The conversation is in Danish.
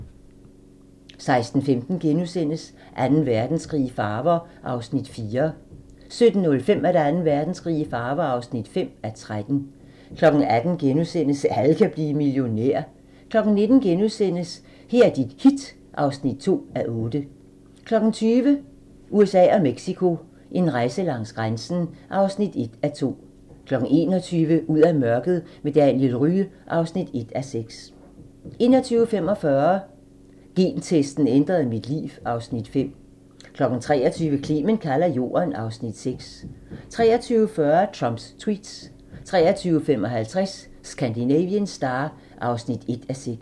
16:15: Anden Verdenskrig i farver (4:13)* 17:05: Anden Verdenskrig i farver (5:13) 18:00: Alle kan blive millionær * 19:00: Her er dit hit (2:8)* 20:00: USA og Mexico: En rejse langs grænsen (1:2) 21:00: Ud af mørket med Daniel Rye (1:6) 21:45: Gentesten ændrede mit liv (Afs. 5) 23:00: Clement kalder jorden (Afs. 6) 23:40: Trumps tweets 23:55: Scandinavian Star (1:6)